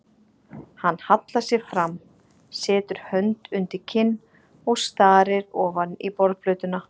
Hann hallar sér fram, setur hönd undir kinn og starir ofan í borðplötuna.